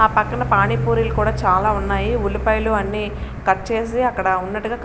ఆ పక్కన పాణిపూరీలు కూడా చాలా ఉన్నాయి ఉల్లిపాయలు అన్నీ కట్ చేసి అక్కడ. --